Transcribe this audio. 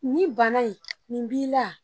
Nin bana in nin b'i la